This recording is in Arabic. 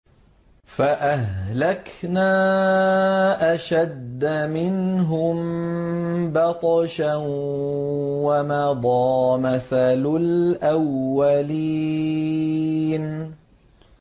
فَأَهْلَكْنَا أَشَدَّ مِنْهُم بَطْشًا وَمَضَىٰ مَثَلُ الْأَوَّلِينَ